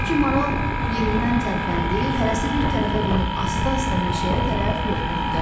O ki maral yerindən tərpəndi, hərəsi bir tərəfə dönüb asta-asta meşəyə tərəf yollandı.